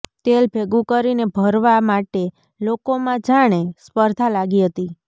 તેલ ભેગુ કરીને ભરવા માટે લોકોમાં જાણે સ્પર્ધા લાગી હતી